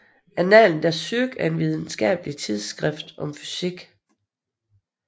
Annalen der Physik er et videnskabeligt tidsskrift om fysik